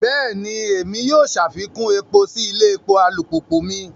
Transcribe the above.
Bẹẹni, Èmí yóò ṣafikun èpo si ilé epo alupupu mi